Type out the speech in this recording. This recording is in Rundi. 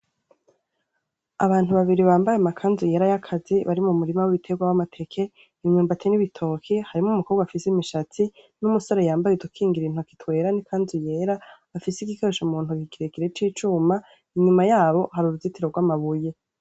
Abantu babiri bambaye amakanzu yera yakazi bari mumurima wibiterwa wamateke imyumbati nibitoke harimwo n umukobwa afise imishatsi n umusore yambaye udukingira intoki afise igikoresho kirekire cicuma inyuma yaho hari uruzitiro rwamabuye.